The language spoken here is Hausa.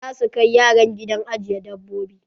Za su kai yaran gidan ajiye dabbobi.